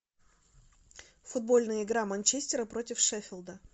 футбольная игра манчестера против шеффилда